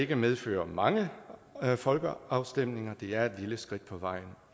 vil medføre mange folkeafstemninger det er et lille skridt på vejen